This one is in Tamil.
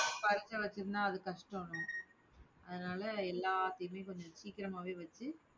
படிக்க வச்சிருந்தா அது கஷ்டம். அதனால எல்லாத்தையுமே கொஞ்சம் சீக்கிரமாவே வச்சு